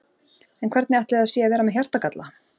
En hvernig ætli það sé að vera með hjartagalla?